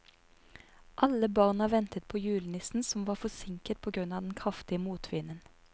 Alle barna ventet på julenissen, som var forsinket på grunn av den kraftige motvinden.